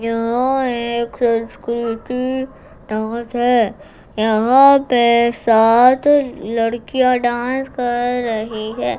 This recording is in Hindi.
यह एक संस्कृति डांस है यहां पे सात लड़किया डांस कर रही है।